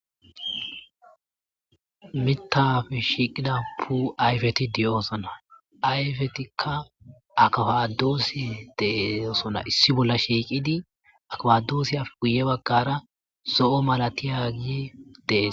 mitafe shiiqida pute ayfeti diyo'osona ayfetikka akadoossi dee'osona issi bolla shiiqidi akwadoosiyappe guye baggara zo'o malatiyagi de'es